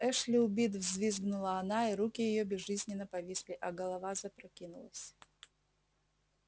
эшли убит взвизгнула она и руки её безжизненно повисли а голова запрокинулась